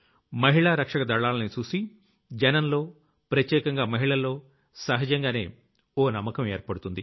మహిళా రక్షక దళాల్ని చూసి జనంలో ప్రత్యేకంగా మహిళల్లో సహజంగానే ఓ నమ్మకం ఏర్పడుతుంది